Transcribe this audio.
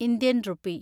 Indian rupee